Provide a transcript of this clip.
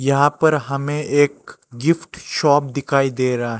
यहां पर हमें एक गिफ्ट शॉप दिखाई दे रहा--